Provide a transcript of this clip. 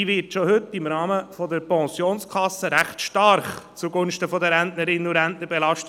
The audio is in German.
Diese wird heute schon recht stark im Rahmen der Pensionskasse zugunsten der Rentnerinnen und Rentner belastet.